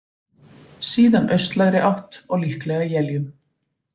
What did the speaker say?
Síðan austlægri átt og líklega éljum